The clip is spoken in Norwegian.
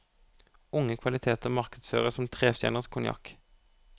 Unge kvaliteter markedsføres som trestjerners konjakk.